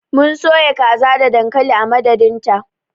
Mun soya kaza da dankali a madadinta.